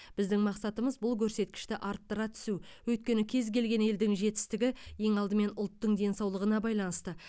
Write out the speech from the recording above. біздің мақсатымыз бұл көрсеткішті арттыра түсу өйткені кез келген елдің жетістігі ең алдымен ұлттың денсаулығына байланысты